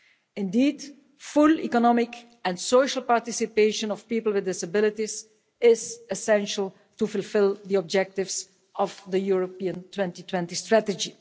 Indeed, full economic and social participation of people with disabilities is essential to fulfil the objectives of the European 2020 strategy.